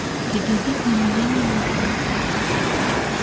и давить на меня не нужно